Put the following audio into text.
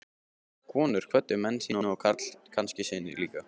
Konur kvöddu menn sína og kannski syni líka.